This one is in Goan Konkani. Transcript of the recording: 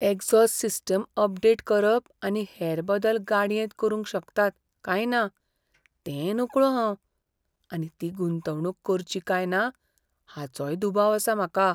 एक्झॉस्ट सिस्टिम अपडेट करप आनी हेर बदल गाडयेंत करूंक शकतात काय ना तें नकळों हांव आनी ती गुंतवणूक करची काय ना हाचोय दुबाव आसा म्हाका.